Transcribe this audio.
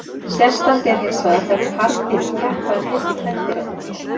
Sérstakt er hinsvegar þegar karldýrin keppa um hylli kvendýranna.